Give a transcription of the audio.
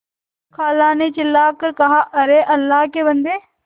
खाला ने चिल्ला कर कहाअरे अल्लाह के बन्दे